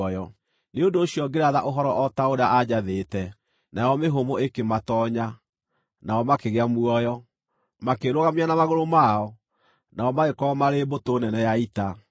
Nĩ ũndũ ũcio ngĩratha ũhoro o ta ũrĩa aanjathĩte, nayo mĩhũmũ ĩkĩmatoonya; nao makĩgĩa muoyo, makĩĩrũgamia na magũrũ mao, nao magĩkorwo marĩ mbũtũ nene ya ita.